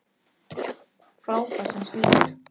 Og frábær sem slíkur.